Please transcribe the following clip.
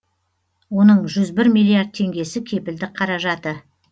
оның жүз бір миллиард теңгесі кепілдік қаражаты